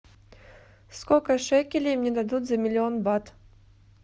сколько шекелей мне дадут за миллион бат